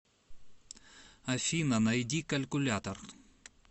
афина найди калькулятор